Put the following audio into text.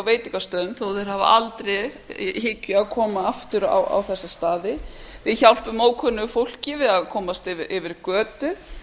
veitingastöðum þó þeir hafi aldrei í hyggju að koma aftur á þessa staði við hjálpum ókunnugu fólki við að komast yfir götu